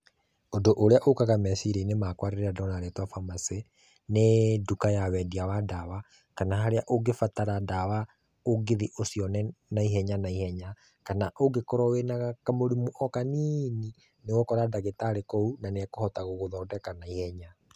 Ũndũ ũrĩa ũkaga meciria-inĩ makũa rĩrĩa ndona rĩtwa pharmacy, nĩ nduka ya wendia wa ndawa, kana harĩa ũngĩbatara ndawa ũngĩthiĩ ũcũione, na ihenya na ihenya, kana ũngĩkorũo wĩna kamũrimũ o kanini, nĩ ũgũkora ndagĩtarĩ kũu, na nĩ ekũhota gũgũthondeka na ihenya.